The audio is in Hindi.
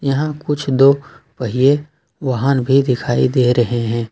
यहां कुछ दो पहिए वाहन भी दिखाई दे रहे हैं।